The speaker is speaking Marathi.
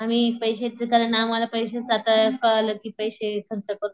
आम्ही पैश्याची कारण आम्हला पैस्याच आता कला कि पैशे खर्च करून